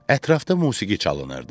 Ətrafda musiqi çalınırdı.